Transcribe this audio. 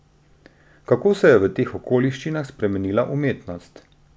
Kako se je v teh okoliščinah spremenila umetnost?